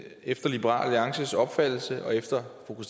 efter liberal alliances opfattelse og efter fru